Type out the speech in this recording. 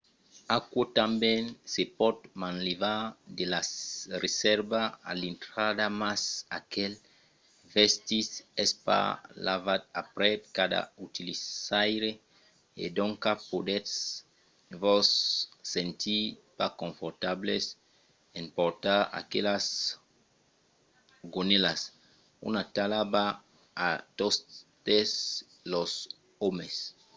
aquò tanben se pòt manlevar de la resèrva a l‘intrada mas aquel vestit es pas lavat aprèp cada utilizaire e doncas podètz vos sentir pas confortables en portar aquelas gonèlas. una talha va a totes los òmes!